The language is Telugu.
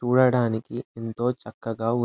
చూడడానికి ఎంతో చక్కగా ఉంట్ --